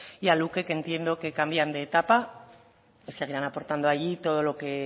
y a luke que entiendo que cambian de etapa seguirán aportando allí todo lo que